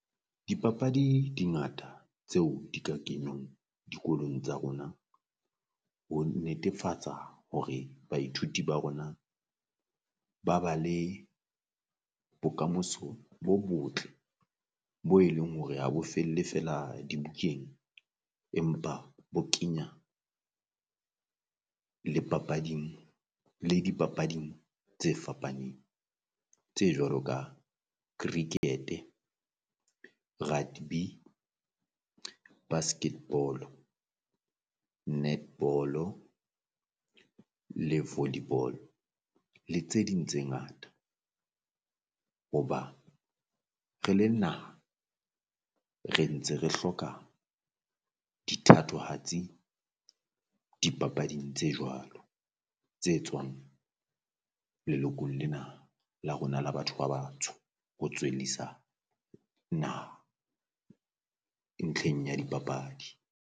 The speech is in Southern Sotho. Dipapadi di ngata tseo di ka kenywang dikolong tsa rona ho netefatsa hore baithuti ba rona ba ba le bokamoso bo botle bo e leng hore ha bo felle feela dibukeng, empa bo kenya le papading le di papading tse fapaneng. Tse jwalo ka cricket, rudby, basketball-o, netball-o le volley ball le tse ding tse ngata. Hoba re le naha re ntse re hloka dithatohatsi dipapading tse jwalo tse tswang lelokong lena la rona la batho ba batsho ho tswellisa naha ntlheng ya dipapadi.